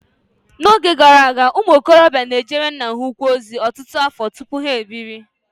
N'oge gara aga, ụmụ okorobịa na-ejere nna ha ukwu ozi ọtụtụ afọ tupu ha ebiri.